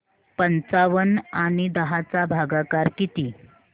पंचावन्न आणि दहा चा भागाकार किती